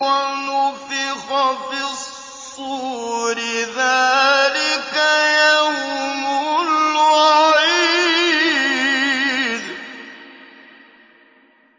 وَنُفِخَ فِي الصُّورِ ۚ ذَٰلِكَ يَوْمُ الْوَعِيدِ